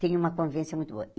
Tem uma convivência muito boa.